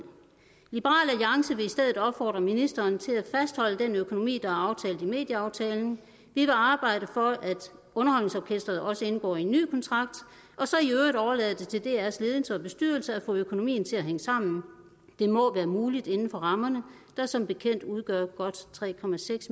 i stedet opfordre ministeren til at fastholde den økonomi der er aftalt i medieaftalen vi vil arbejde for at underholdningsorkestret også indgår en ny kontrakt og så i øvrigt overlade til drs ledelse og bestyrelse at få økonomien til at hænge sammen det må være muligt inden for rammerne der som bekendt udgør godt tre